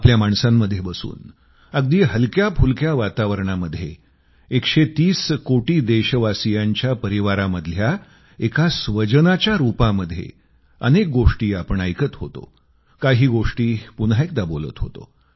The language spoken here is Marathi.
आपल्या माणसांमध्ये बसून अगदी हलक्याफुलक्या वातावरणामध्ये 130 कोटी देशवासियांच्या परिवारामधल्या एका स्वजनाच्या रूपामध्ये अनेक गोष्टी आपण ऐकत होतो काही गोष्टी पुन्हा एकदा बोलत होतो